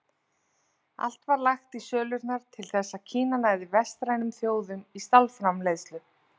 Allt var lagt í sölurnar til þess að Kína næði vestrænum þjóðum í stálframleiðslu.